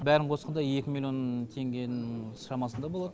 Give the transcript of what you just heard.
бәрін қосқанда екі миллион теңгенің шамасында болады